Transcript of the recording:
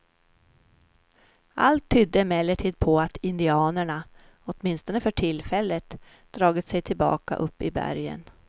Allt tydde emellertid på att indianerna, åtminstone för tillfället, dragit sig tillbaka upp i bergen.